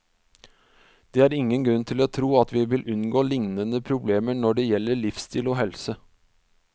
Det er ingen grunn til å tro at vi vil unngå lignende problemer når det gjelde livsstil og helse.